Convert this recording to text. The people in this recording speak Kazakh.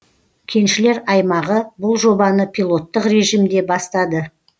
кеншілер аймағы бұл жобаны пилоттық режимде бастады